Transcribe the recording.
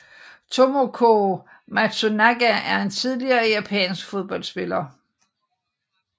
Tomoko Matsunaga er en tidligere japansk fodboldspiller